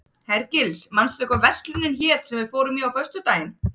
Hergils, manstu hvað verslunin hét sem við fórum í á föstudaginn?